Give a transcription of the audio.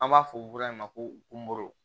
An b'a fɔ o bɔrɛ in ma kooro